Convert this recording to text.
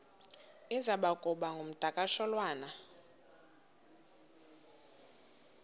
iza kuba ngumdakasholwana